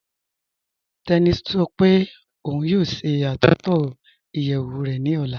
Tẹni sọ́ pé ọun yóò ṣẹ́ àtúntọ iyeẹwù rẹ ni ọlá.